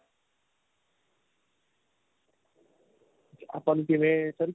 ਆਪਾਂ ਨੂੰ ਕਿਵੇਂ ਸਿਰ